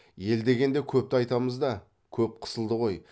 ел дегенде көпті айтамыз да көп қысылды ғой